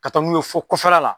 Ka taa n'u ye fɔ kɔfɛla la.